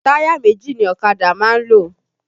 Táyà méjì ni ọ̀kadà máa ń lò